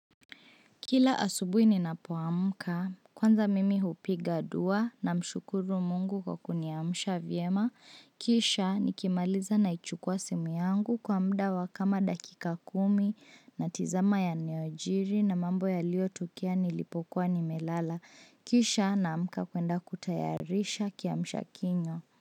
Kila asubuhi ninapoamka kwanza mimi hupiga dua namshukuru mungu kwa kuniamsha vyema Kisha nikimaliza naichukua simu yangu kwa muda wa kama dakika kumi natizama yaliyojiri na mambo yaliyotokea nilipokuwa nimelala Kisha naamka kwenda kutayarisha kiamusha kinywa.